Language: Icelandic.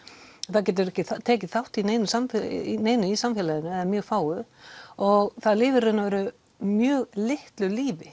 það getur ekki tekið þátt í neinu í neinu í samfélaginu eða mjög fáu og það lifir í raun og veru mjög litlu lífi